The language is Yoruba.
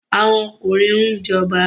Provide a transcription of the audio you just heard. Àwọn ọkùnrin ń jọba